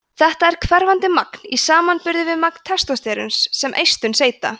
þetta er hverfandi magn í samanburði við magn testósteróns sem eistun seyta